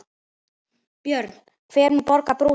Björn: Hver mun borga brúsann?